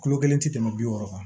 Kulo kelen tɛ tɛmɛ bi wɔɔrɔ kan